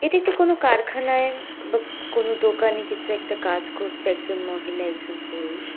এটি একটি কোনো কারখানায় বা কোনো দোকানে কিছু একটা কাজ করছে একজন মহিলা একজন পুরুষ।